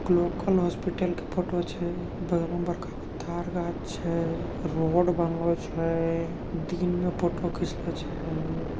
Local hospital के photo छै । बगलो में बरका गो तार गाँछ छै । रोड बनलो छै । दिन मे फोटो खिंचलों छै ।